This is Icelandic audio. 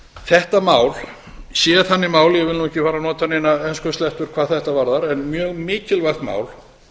þetta mál sé þannig mál ég vil nú ekki fara að nota neinar enskuslettur hvað þetta varðar en mjög mikilvægt mál